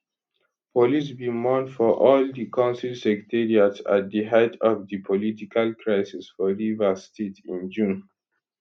police bin mount for all di council secretariats at di height of di political crisis for rivers state in june